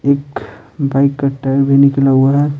एक बाइक का टायर भी निकला हुआ है।